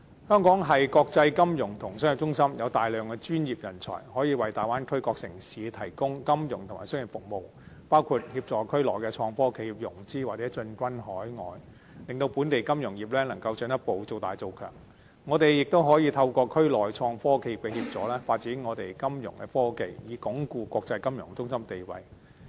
香港是國際金融和商業中心，有大量專業人才，可以為大灣區各城市提供金融和商業服務，包括協助區內創科企業融資或進軍海外，令本地金融業能夠進一步造大造強，香港亦可以透過區內創科企業的協助，發展香港的金融科技，以鞏固國際金融中心的地位。